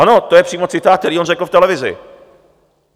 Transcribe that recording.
Ano, to je přímo citát, který on řekl v televizi.